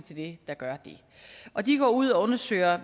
til det der gør det og de går ud og undersøger